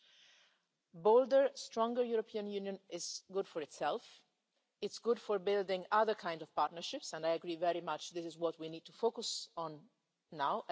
A bolder, stronger European Union is good for itself, it is good for building other kinds of partnerships, and I very much agree that this is what we need to focus on now.